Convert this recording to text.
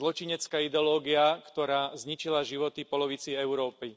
Je to zločinecká ideológia, ktorá zničila životy polovici Európy.